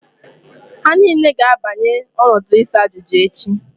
Ha niile ga-abanye n'ọdụ isa ajuju echi